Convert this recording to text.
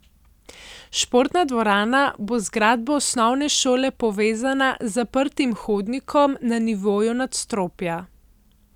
Športna dvorana bo z zgradbo osnovne šole povezana z zaprtim hodnikom na nivoju nadstropja.